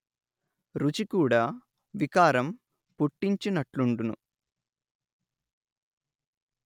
రుచి కూడా వికారం పుట్టించినట్లుండును